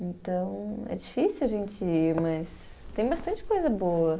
Então, é difícil a gente ir, mas tem bastante coisa boa.